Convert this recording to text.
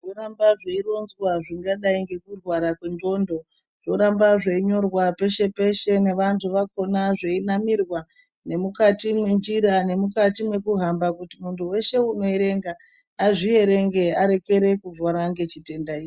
Zvoramba zveironzwa zvingadai ngekurwara kwendxondo. Zvoramba zveinyorwa peshe-peshe nevantu vakona zveinamirwa nemukati menjira nemukati mekuhamba. Kuti muntu veshe unoerenga azvierenge arekere kurwara ngechitenda ichi.